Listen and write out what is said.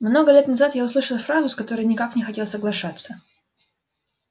много лет назад я услышал фразу с которой никак не хотел соглашаться